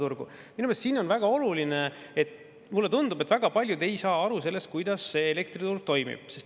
Minu meelest siin on väga oluline – ja mulle tundub, et väga paljud ei saa aru sellest –, kuidas elektriturg toimib.